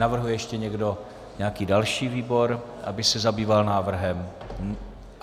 Navrhuje ještě někdo nějaký další výbor, aby se zabýval návrhem?